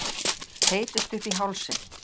Þeytist upp í hálsinn.